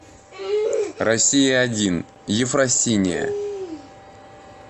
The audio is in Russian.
россия один ефросинья